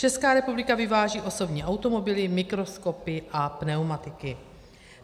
Česká republika vyváží osobní automobily, mikroskopy a pneumatiky.